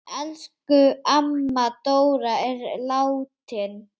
Elsku amma Dóra er látin.